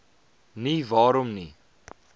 nie waarom nie